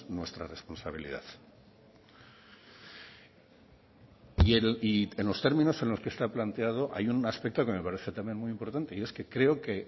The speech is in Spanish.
nuestra responsabilidad y en los términos en los que está planteado hay un aspecto que me parece también muy importante y es que creo que